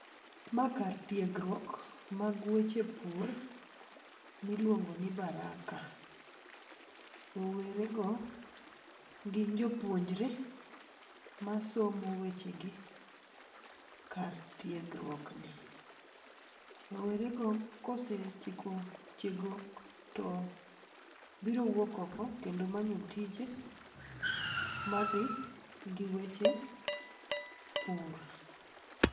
Ma kar tiegruok mag weche pur miluongo ni Baraka. Rowere go gin jopuonjre masomo weche gi kar tiegruok ni. Rowere go kosetieko tiegruok to biro wuok oko kendo manyo tije madhi gi weche pur.